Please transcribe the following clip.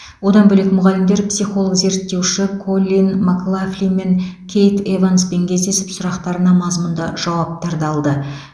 одан бөлек мұғалімдер психолог зерттеуші коллин маклафлин мен кейт эванспен кездесіп сұрақтарына мазмұнды жауаптарды алды